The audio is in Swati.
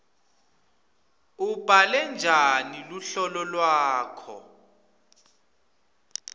ubhale njani luhlolo lwakho